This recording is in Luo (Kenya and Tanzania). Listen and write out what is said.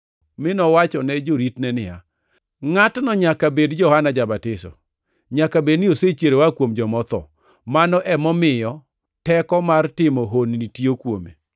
mi nowachone joritne niya, “Ngʼatno nyaka bed Johana ja-Batiso. Nyaka bed ni osechier oa kuom joma otho! Mano emomiyo teko mar timo honni tiyo kuome.”